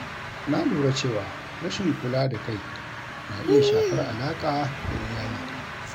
Na lura cewa rashin kula da kai na iya shafar alaƙa da iyali.